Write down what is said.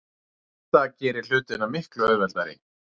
Þetta gerir hlutina miklu auðveldari.